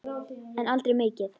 En aldrei mikið.